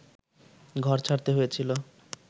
ঘর ছাড়তে হয়েছিল